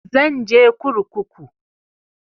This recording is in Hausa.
Zan je kurkuku